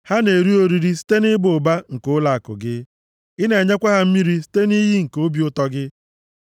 Ha na-eri oriri site nʼịba ụba nke ụlọakụ gị; Ị na-enyekwa ha mmiri site nʼiyi nke obi ụtọ gị.